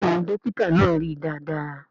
Bẹ́ẹ̀ni Dókítà náà rí dáadáa